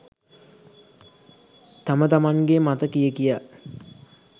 තම තමන්ගේ මත කිය කියා